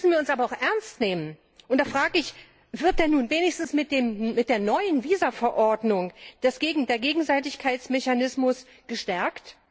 Zugleich müssen wir uns aber auch ernst nehmen, und da frage ich Wird denn nun wenigstens mit der neuen Visa Verordnung der Gegenseitigkeitsmechanismus gestärkt?